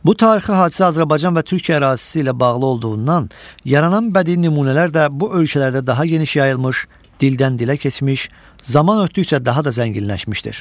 Bu tarixi hadisə Azərbaycan və Türkiyə ərazisi ilə bağlı olduğundan yaranan bədii nümunələr də bu ölkələrdə daha geniş yayılmış, dildən-dilə keçmiş, zaman ötdükcə daha da zənginləşmişdir.